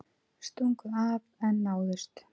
Stungu af en náðust